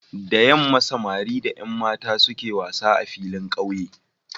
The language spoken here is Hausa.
Da yamma samari da Yan mata ke zuwa wasa a filin ƙauye